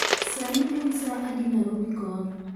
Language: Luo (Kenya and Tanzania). sani en sa adi narobi kono